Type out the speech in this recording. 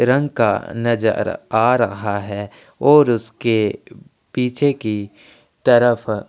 रंग का नज़र आ रहा है और उसके पीछे की तरफ--